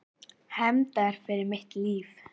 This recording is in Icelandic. Hefndar fyrir mitt líf.